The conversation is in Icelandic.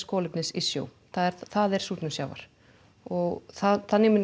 kolefnis í sjó það er það er súrnun sjávar og þannig mun